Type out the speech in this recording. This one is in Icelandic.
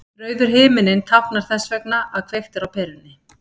Rauður himinninn táknar þess vegna að kveikt er á perunni.